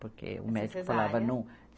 Porque o médico falava não?